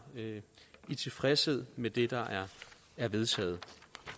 i tilfredshed med det der er vedtaget